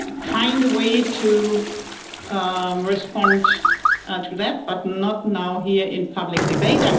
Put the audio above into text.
find a way to respond to that, but not now here in a public debate.